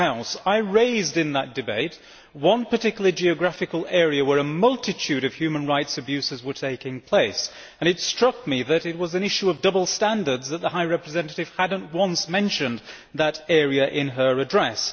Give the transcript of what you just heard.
In that debate, I raised the question of a particular geographical area where a multitude of human rights abuses were taking place, and it struck me that it was a case of double standards as the High Representative had not once mentioned that area in her address.